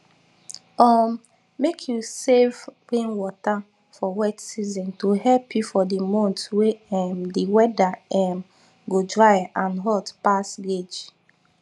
um make u save rainwater for wet season to help you for di month wey um di weather um go dry and hot pass gauge